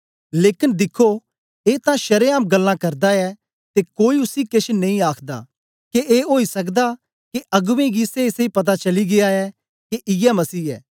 लेकन दिख्खो ए तां शरेआम गल्लां करदा ऐ ते कोई उसी केछ नेई आखदा के ए ओई सके दा के अगबें कि सेईसेई पता चली गीया ऐ के इयै मसीह ऐ